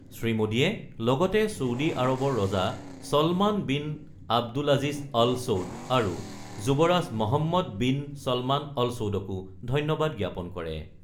শ্ৰীমোদীয়ে লগতে ছৌদি আৰৱৰ ৰজা ছলমান বিন আব্দুলাজিজ অল-ছৌদ আৰু যুৱৰাজ মহম্মদ-বিন-ছলমান অল-ছৌদকো ধন্যবাদ জ্ঞাপন কৰে।